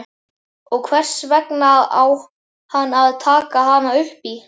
Og hvers vegna á hann að taka hana upp í?